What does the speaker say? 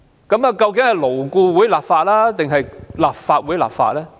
究竟是勞顧會立法，還是立法會立法呢？